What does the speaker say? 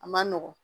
A man nɔgɔn